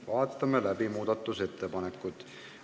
Vaatame läbi muudatusettepanekud.